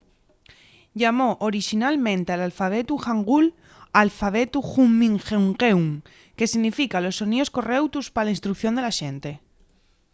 llamó orixinalmente al alfabetu hangul alfabetu hunminjeongeum que significa los soníos correutos pa la instrucción de la xente